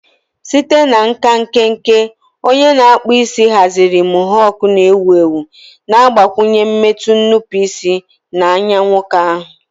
Site na nka nkenke, onye na-akpụ isi haziri mohawk na-ewu ewu, na-agbakwụnye mmetụ nnupụisi na anya nwoke ahụ.